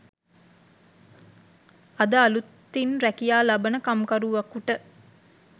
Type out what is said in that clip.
අද අලුතින් රැකියා ලබන කම්කරුවකුට